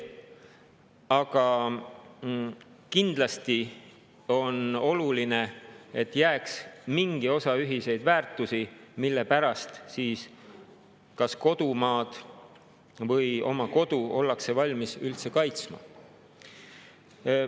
Aga kindlasti on oluline, et jääks mingi osa ühiseid väärtusi, mille pärast kas kodumaad või oma kodu ollakse valmis üldse kaitsma.